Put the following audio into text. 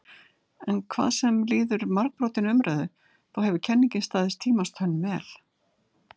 En hvað sem líður margbrotinni umræðu þá hefur kenningin staðist tímans tönn vel.